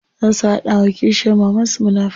Za su hada wa kishiyar mamansu munafurci.